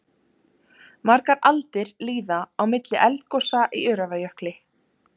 Margar aldir líða á milli eldgosa í Öræfajökli.